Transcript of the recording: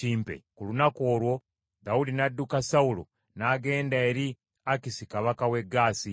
Ku lunaku olwo Dawudi n’adduka Sawulo n’agenda eri Akisi kabaka w’e Gaasi.